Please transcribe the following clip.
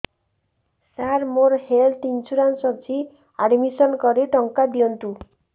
ସାର ମୋର health insurance ଅଛି admission କରି ଟଙ୍କା ଦିଅନ୍ତୁ